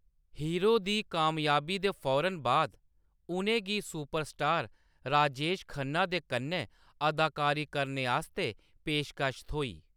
Hero दी कामयाबी दे फौरन बाद, उʼनें गी सुपरस्टार राजेश खन्ना दे कन्नै अदाकारी करने आस्तै पेशकश थ्होई।